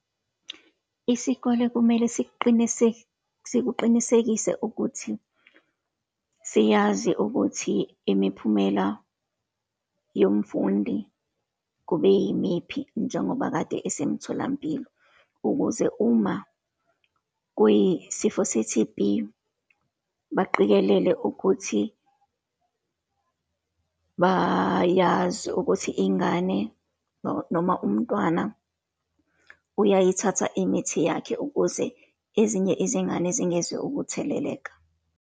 Isikole kumele siqinise, sikuqinisekise ukuthi siyazi ukuthi imiphumela yomfundi kube yimiphi, njengoba kade esemtholampilo, ukuze uma kuyisifo se-T_B, baqikelele ukuthi bayazi ukuthi ingane, noma umntwana uyayithatha imithi yakhe, ukuze ezinye izingane zingezukutheleleka.